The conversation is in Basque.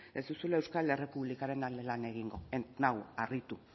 ez duzula euskal errepublikaren alde lan egingo ez nau harritu